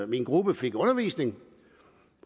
min gruppe fik undervisning